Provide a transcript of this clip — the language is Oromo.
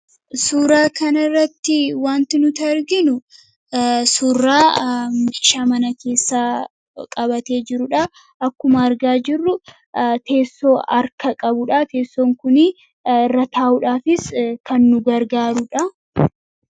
suuraa kan irratti wanti nuti argaa jirru suuraa meeshaa mana keessaa qabatee jiruudha akkuma argaa jirru teessoo arka qabuudha teessoon kuni irra taa'uudhaafis kan nu gargaaruudha.